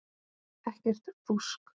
Ekkert fúsk.